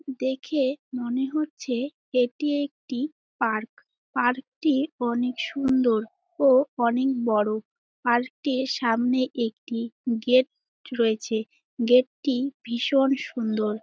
দেখে মনে হচ্ছে এটি একটি পার্ক । পার্ক টি অনেক সুন্দর ও অনেক বড়। পার্ক টির সামনে একটি গেট রয়েছে। গেট -টি ভীষণ সুন্দর।